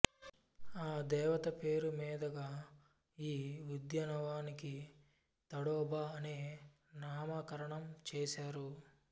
ఆ దేవత పేరు మీదుగా ఈ ఉద్యనవానికి తడోబా అనే నామకరణం చేశారు